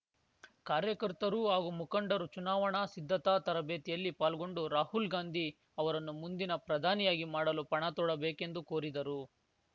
ಕಾರ್ಯಕರ್ತರು ಹಾಗೂ ಮುಖಂಡರು ಚುನಾವಣಾ ಸಿದ್ಧತಾ ತರಬೇತಿಯಲ್ಲಿ ಪಾಲ್ಗೊಂಡು ರಾಹುಲ್‌ ಗಾಂಧಿ ಅವರನ್ನು ಮುಂದಿನ ಪ್ರಧಾನಿಯಾಗಿ ಮಾಡಲು ಪಣ ತೋಡಬೇಕೆಂದು ಕೋರಿದರು